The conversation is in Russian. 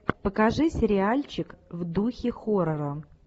покажи сериальчик в духе хоррора